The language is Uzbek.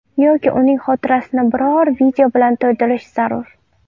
Yoki uning xotirasini biror video bilan to‘ldirish zarur.